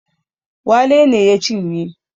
Wale ne ya cinye